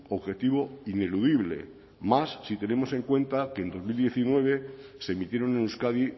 objetivo ineludible más si tenemos en cuenta que en dos mil diecinueve se emitieron en euskadi